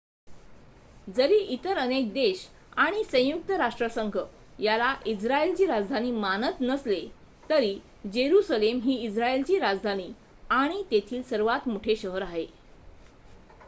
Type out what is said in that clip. जरी इतर अनेक देश आणि संयुक्त राष्ट्रसंघ याला इस्रायेलची राजधानी मनात नसले तरी जेरुसलेम ही इस्रायेलची राजधानी आणि तेथील सर्वात मोठे शहर आहे